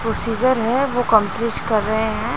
वो सीजर है वो कर रहे हैं।